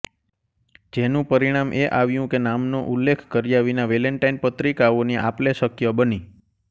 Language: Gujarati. જેનું પરિણામ એ આવ્યું કે નામનો ઉલ્લેખ કર્યા વિના વેલેન્ટાઇન પત્રિકાઓની આપલે શક્ય બની